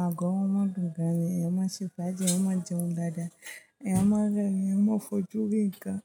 Agọ̀ wọn máa dun gan ni, èèyàn má ṣé fáji, èèyàn máa jẹun dáadáa, èèyàn má rẹ́ rín, èèyàn má fojú rí ǹkan.